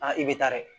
i bɛ taa dɛ